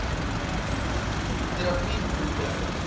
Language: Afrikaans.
terapie hoe werk